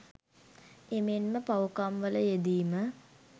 එමෙන්ම පව්කම්වල යෙදීම